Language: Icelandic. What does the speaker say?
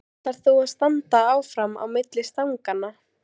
Ætlar þú að standa áfram á milli stanganna?